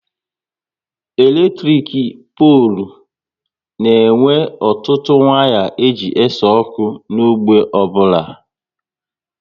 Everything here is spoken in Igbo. Eletrik polu na e nwe ọtụtụ waya e ji ese ọkụ n'ógbè ọbụla